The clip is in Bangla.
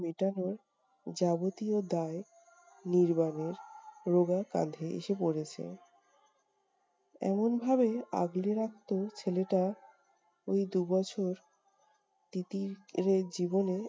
মিটানোর যাবতীয় দায় নির্বাণের রোগা কাঁধে এসে পড়েছে। এমন ভাবে আগলে রাখতো ছেলেটা! ওই দু'বছর তিতির এর জীবনে